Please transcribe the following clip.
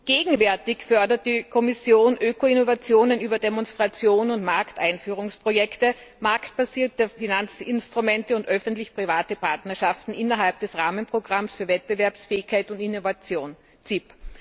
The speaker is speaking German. Gegenwärtig fördert die Kommission Öko Innovationen über Demonstrationen und Markteinführungsprojekte, marktbasierte Finanzinstrumente und öffentlich private Partnerschaften innerhalb des Rahmenprogramms für Wettbewerbsfähigkeit und Innovation, CIP.